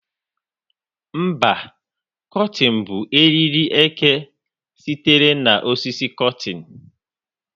Mba, kotịn bụ eriri eke sitere na osisi Kotịn.